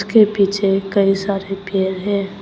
के पीछे कई सारे पेड़ है।